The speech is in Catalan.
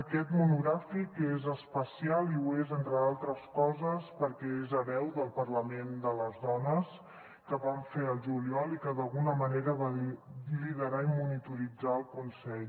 aquest monogràfic és especial i ho és entre d’altres coses perquè és hereu del parlament de les dones que vam fer al juliol i que d’alguna manera va liderar i monitorar el consell